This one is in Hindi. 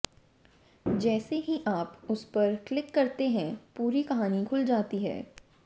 जैसे ही आप उसपर क्लिक करते है पूरी कहानी खुल जाती है